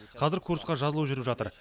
қазір курсқа жазылу жүріп жатыр